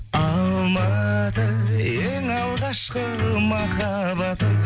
алматы ең алғашқы махаббатым